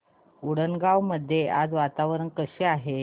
उंडणगांव मध्ये आज वातावरण कसे आहे